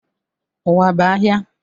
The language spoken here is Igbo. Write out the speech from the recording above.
Ụwa bụ ahịa.